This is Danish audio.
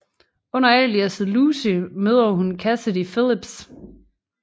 Under aliasset Lucy møder hun Cassidy Phillips